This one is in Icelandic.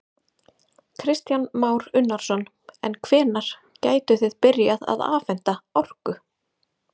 Kristján Már Unnarsson: En hvenær gætuð þið byrjað að afhenta þeim orku?